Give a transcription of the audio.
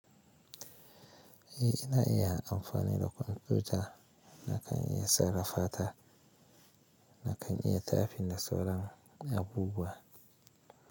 Eh ina iya amfani da kwamfuta nakan iya sarrafa ta, nakan iya tafin da sauran abubuwa.